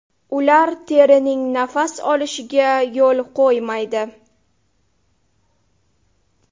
Ular terining nafas olishiga yo‘l qo‘ymaydi.